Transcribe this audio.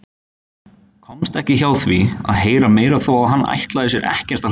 Komst ekki hjá því að heyra meira þó að hann ætlaði sér ekkert að hlusta.